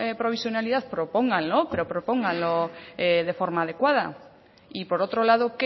provisionalidad propónganlo pero propónganlo de forma adecuada y por otro lado